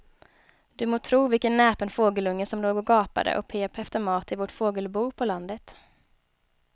Du må tro vilken näpen fågelunge som låg och gapade och pep efter mat i vårt fågelbo på landet.